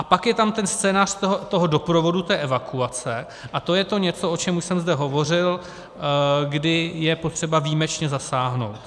A pak je tam ten scénář toho doprovodu, té evakuace, a to je to něco, o čem už jsem zde hovořil, kdy je potřeba výjimečně zasáhnout.